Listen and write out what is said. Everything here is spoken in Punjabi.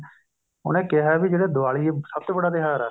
ਉਹਨੇ ਕਿਹਾ ਵੀ ਜਿਹੜੀ ਦੀਵਾਲੀ ਸਭ ਤੋ ਵੱਡਾ ਤਿਉਹਰ ਹੈ